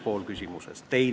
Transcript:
See on küsimuse üks pool.